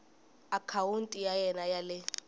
akhawunti ya wena ya le